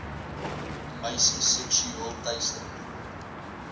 meisies seksueel teister